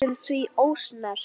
Næstum því ósnert.